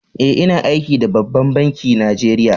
Eh, ina aiki da ɓabban banki Najeriya.